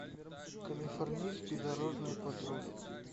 калифорнийский дорожный патруль